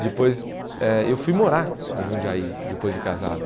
Depois, eh eu fui morar em Jundiaí, depois de casado.